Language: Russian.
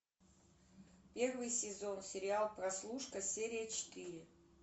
первый сезон сериал прослушка серия четыре